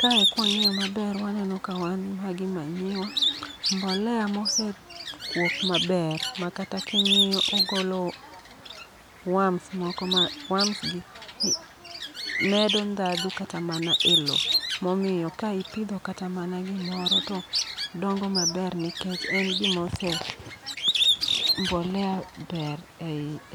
Kae kwa ng'iyo maber waneno ka wan ma gi manyiwa, mbolea mosekuok maber. Ma kata king'iyo ogolo worms moko ma worms gi medo ndhadhu kata mana e e lo. Momiyo ka ipidho kata mana gimoro to dongo maber nikech en gimose mbolea ber